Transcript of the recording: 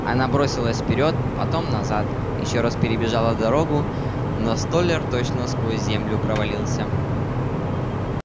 она бросилась вперёд потом назад ещё раз перебежала дорогу но столяр точно сквозь землю провалился